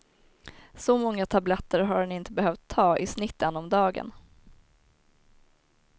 Så många tabletter har han inte behövt ta, i snitt en om dagen.